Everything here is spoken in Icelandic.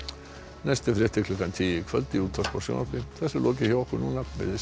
næstu fréttir klukkan tíu í kvöld í útvarpi og sjónvarpi þessu er lokið hjá okkur veriði sæl